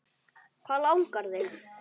Hvað langar þig?